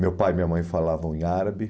Meu pai e minha mãe falavam em árabe.